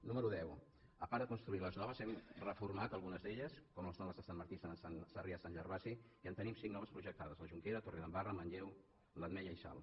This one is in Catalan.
número deu a part de construir les noves hem reformat algunes d’elles com són les de sant martí i sarrià · sant gervasi i en tenim cinc de noves projec·tades la jonquera torredembarra manlleu l’ametlla i salt